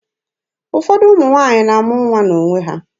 Ụfọdụ ụmụ nwaanyị na-amụ nwa n'onwe ha.